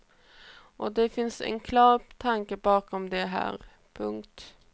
Och det finns en klar tanke bakom det här. punkt